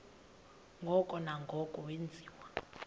ngoko nangoko wenziwa